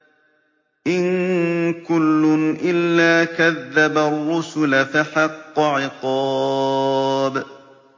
إِن كُلٌّ إِلَّا كَذَّبَ الرُّسُلَ فَحَقَّ عِقَابِ